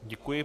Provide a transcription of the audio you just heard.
Děkuji.